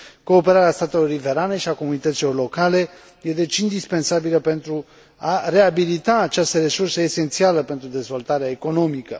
Cooperarea statelor riverane și a comunităților locale e deci indispensabilă pentru a reabilita această resursă esențială pentru dezvoltarea economică.